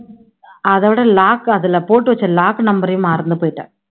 அதோட lock அதுல போட்டு வச்ச lock number ஐயும் மறந்து போயிட்டேன்